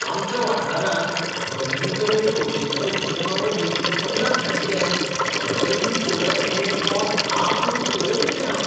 आमच्या वाठारांत नविनीकरणीय उर्जेच्या उपक्रमावरवीं अंमलांत हाडिल्ले गडगंज सोलर ऍरे तोंड आं करून पळयत उरलें हांव.